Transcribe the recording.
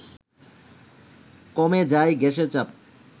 কমে যায় গ্যাসের চাপ